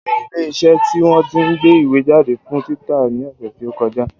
Mo lọ sí ilé iṣẹ́ tí wọ́n tí ń gbé ìwé jáde fún títa ní ọ̀sẹ̀ tí ó kọjá